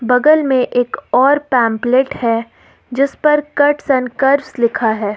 बगल में एक और पैंपलेट है जिस पर कट्स एंड कर्व्स लिखा है।